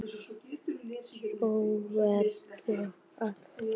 Sólveig Bergmann: Ætlarðu að flagga?